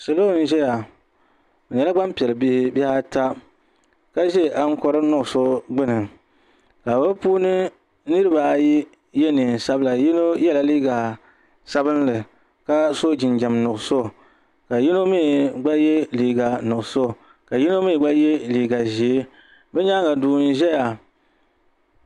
Salo n ʒɛya bi nyɛla gbanpiɛli bihi bihi ata ka ʒɛ ankori nuɣso gbuni ka bi puuni nirabaayi yɛ neen sabila yino yɛla liiga sabinli ka so jinjɛm nuɣso ka yino mii gba yɛ liiga nuɣso ka yino mii gba yɛ liiga ʒiɛ bi nyaanga duu n ʒɛya